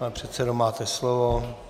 Pane předsedo, máte slovo.